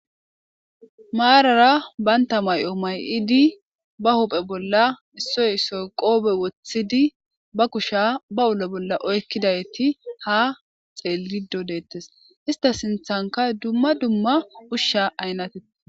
maarara baynta may7o may7iidi ba huphe bolla issoy issoy qoobe woththidi ba kusha ba ule bolla oykkidayti ha xeelido deettes ista sinthanka dumma dumma ushsha aynatee